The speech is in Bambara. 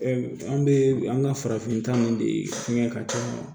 an bɛ an ka farafinta ninnu de kɛ ka taa